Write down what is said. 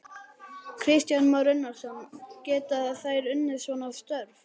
Kristján Már Unnarsson: Geta þær unnið svona störf?